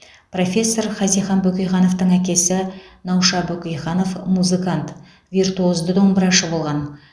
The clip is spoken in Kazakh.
профессор хазихан бөкейхановтың әкесі науша бөкейханов музыкант виртуозды домбырашы болған